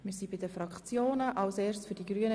Wir kommen zu den Fraktionssprechenden.